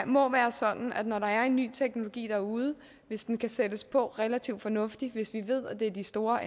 må være sådan at når der er en ny teknologi derude og hvis den kan sættes på relativt fornuftigt og hvis vi ved at det er de store